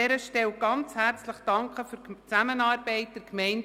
Wer diesen Antrag annimmt, stimmt Ja, wer diesen ablehnt, stimmt Nein.